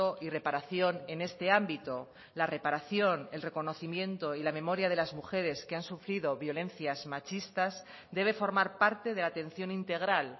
y reparación en este ámbito la reparación el reconocimiento y la memoria de las mujeres que han sufrido violencias machistas debe formar parte de la atención integral